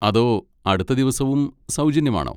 അതോ അടുത്ത ദിവസവും സൗജന്യമാണോ?